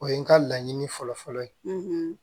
O ye n ka laɲini fɔlɔ fɔlɔ fɔlɔ ye